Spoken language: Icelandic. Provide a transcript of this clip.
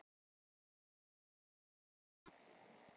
spurði Tinna.